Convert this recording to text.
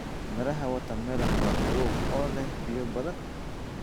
Midhaha watermelon waa qabow oo leh biyo badan.